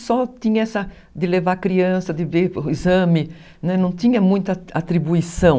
Só tinha essa... de levar criança, de ver o exame, não tinha muita atribuição.